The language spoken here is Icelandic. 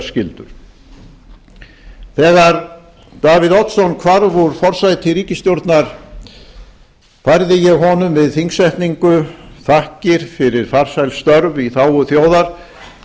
skyldur þegar davíð oddsson hvarf úr forsæti ríkisstjórnar færði ég honum við þingsetningu þakkir fyrir farsæl störf í þágu þjóðar